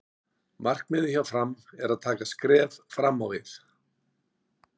Markmiðið hjá Fram er að taka skref fram á við.